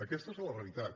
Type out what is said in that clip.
aquesta és la realitat